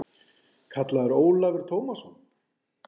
kallaði Ólafur Tómasson.